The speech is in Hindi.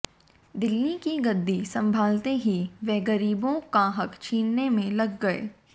दिल्ली की गद्दी संभालते ही वे गरीबों का हक छीनने में लग गए